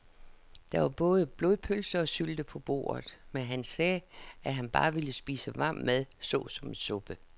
Der var både blodpølse og sylte på bordet, men han sagde, at han bare ville spise varm mad såsom suppe.